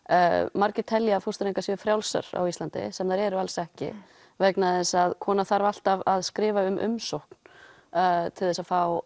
margir telja að fóstureyðingar séu frjálsar á Íslandi sem þær eru alls ekki vegna þess að kona þarf alltaf að skrifa umsókn til þess að fá